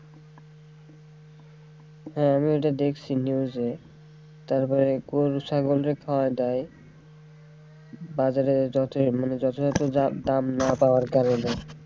হ্যাঁ আমিও এটা দেখছি news এ তারপরে গরু ছাগলে খাওয়ায় দেয় বাজারে মানে যথাযথ দাম না পাওয়ার কারনে।